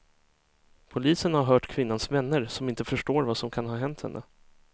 Polisen har hört kvinnans vänner, som inte förstår vad som kan ha hänt henne.